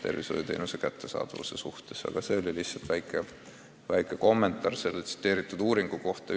See oli lihtsalt väike kommentaar teie märgitud uuringu kohta.